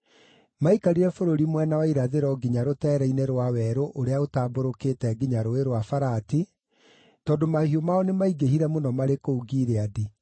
Maikarire bũrũri mwena wa irathĩro nginya rũteere-inĩ rwa werũ ũrĩa ũtambũrũkĩte nginya Rũũĩ rwa Farati, tondũ mahiũ mao nĩmaingĩhire mũno marĩ kũu Gileadi.